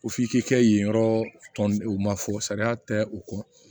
Ko f'i k'i kɛ yen yɔrɔ tɔn o ma fɔ sariya tɛ u kɔ